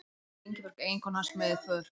Oftast var Ingibjörg eiginkona hans með í för.